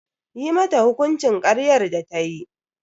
Yi mata hukuncin karyar da tayi.